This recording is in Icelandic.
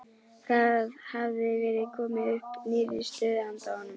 Það hafði verið komið upp nýrri stöðu handa honum.